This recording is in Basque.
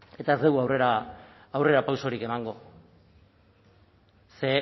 eta ez dugu aurrera pausorik emango ze